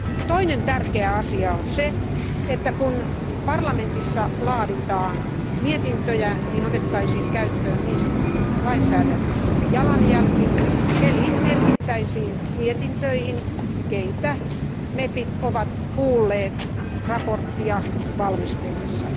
Toinen tärkeä asia on se, että kun parlamentissa laaditaan mietintöjä, niin otettaisiin käyttöön niin sanottu lainsäädännöllinen jalanjälki, eli merkittäisiin mietintöihin keitä mepit ovat kuulleet mietintöä valmistellessaan.